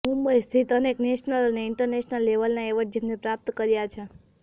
મુંબઇ સ્થિત અનેક નેશનલ અને ઇન્ટરનેશનલ લેવલના એવોર્ડ જેમને પ્રાપ્ત કર્યા છે